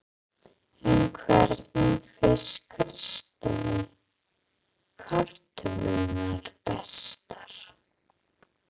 En hvernig finnst Kristjáni kartöflurnar bestar?